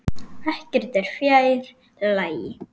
Ekkert er fjær lagi.